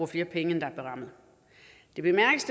flere penge end der er berammet det bemærkes